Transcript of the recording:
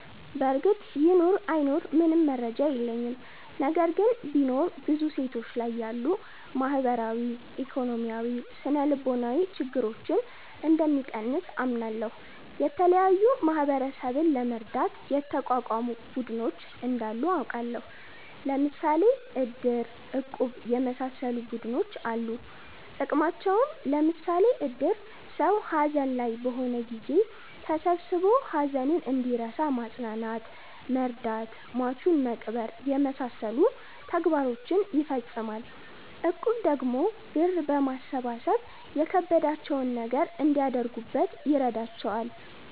በርግጥ ይኑር አይኑር ምንም መረጃ የለኝም። ነገር ግን ቢኖር ብዙ ሴቶች ላይ ያሉ ማህበራዊ፣ ኢኮኖሚያዊ፣ ስነልቦናዊ ችግረኞን እንደሚቀንስ አምናለሁ። የተለያዩ ማህበረሰብን ለመርዳት የተቋቋሙ ቡድኖች እንዳሉ አቃለሁ። ለምሣሌ እድር፣ እቁብ የመሣሠሉ ቡድኖች አሉ ጥቅማቸውም ለምሳሌ እድር ሠው ሀዘን ላይ በሆነ ጊዜ ተሠብስቦ ሀዘኑን እንዲረሣ ማፅናናት መርዳት ሟቹን መቅበር የመሣሠሉ ተግባሮችን ይፈፅማል። እቁብ ደግሞ ብር በማሠባሠብ የከበዳቸውን ነገር እንዲያደርጉበት ይረዳቸዋል።